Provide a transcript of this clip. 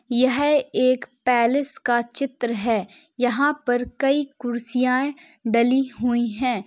यह एक पैलेस का चित्र है। यहाँ पर कई कुर्सीयाएँ डली हुई हैं।